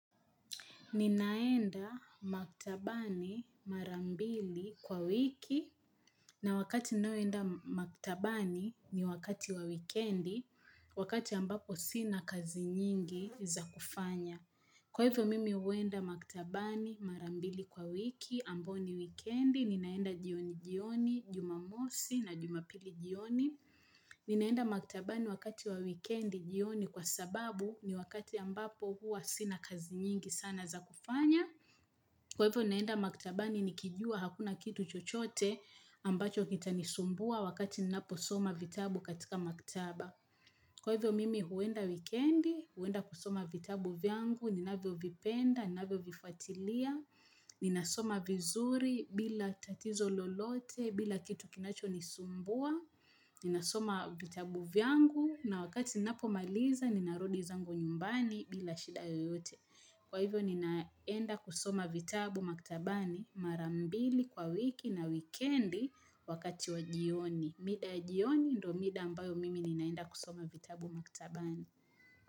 Ninaenda maktabani marambili kwa wiki na wakati ninaenda maktabani ni wakati wa weekendi wakati ambapo sina kazi nyingi za kufanya. Kwa hivyo mimi huenda maktabani marambili kwa wiki, ambao ni weekendi, ninaenda jioni jioni, jumamosi na jumapili jioni. Ninaenda maktabani wakati wa weekendi jioni kwa sababu ni wakati ambapo huwa sina kazi nyingi sana za kufanya. Kwa hivyo naenda maktabani nikijua hakuna kitu chochote ambacho kitanisumbua wakati ninapo soma vitabu katika maktaba. Kwa hivyo mimi huenda weekendi, huenda kusoma vitabu vyangu, ninavyo vipenda, ninavyo vifyatilia, ninasoma vizuri bila tatizo lolote, bila kitu kinachonisumbua, ninasoma vitabu vyangu na wakati ninapo maliza ninarudi zangu nyumbani bila shida yoyote. Kwa hivyo ninaenda kusoma vitabu maktabani marambili kwa wiki na wikendi wakati wa jioni. Mida jioni ndo mida ambayo mimi ninaenda kusoma vitabu maktabani.